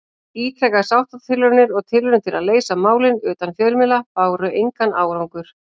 Ítrekaðar sáttatilraunir og tilraunir til að leysa málin utan fjölmiðla báru engan árangur.